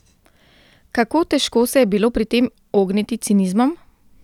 Kako težko se je bilo pri tem ogniti cinizmom?